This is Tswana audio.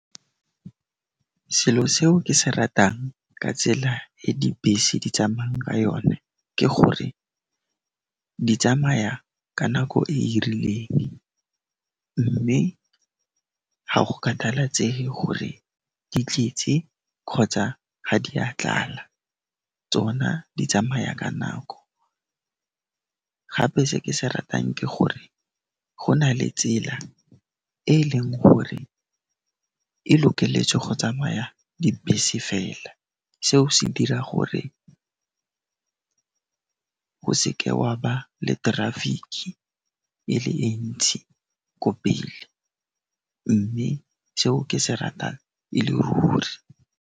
Selo seo ke se ratang ka tsela e dibese di tsama'ng ka yone ke gore di tsamaya ka nako e e rileng, mme ga go kgathalatsege gore di tletse kgotsa ga di a tlala, tsona di tsamaya ka nako. Gape se ke se ratang ke gore go na le tsela e e leng gore e lokeletswe go tsamaya dibese fela. Seo se dira gore o seke wa ba le terafiki e le e ntsi ko pele, mme seo ke se ratang e le ruri.